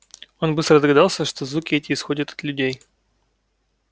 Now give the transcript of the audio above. он быстро догадался что звуки эти исходят от людей